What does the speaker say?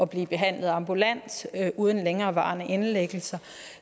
blive behandlet ambulant uden længerevarende indlæggelser